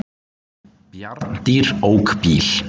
Bjarndýr ók bíl